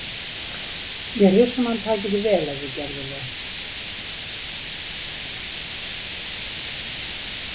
Ég er viss um að hann tæki því vel ef þú gerðir það.